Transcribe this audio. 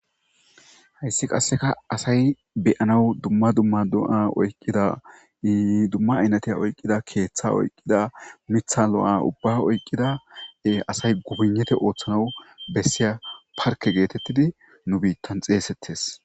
Hayssi qasseka asay beyanaw dumma dumma do'a oyqqidaiidumma aynatiya oyqqida keeththa oyqqida mitha lo'o ubba oyqqida asay gubunete ooththanaw bessiya parke geetettidi nu biittan xeesettes.